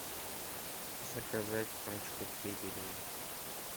заказать пачку педигри